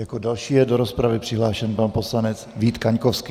Jako další je do rozpravy přihlášen pan poslanec Vít Kaňkovský.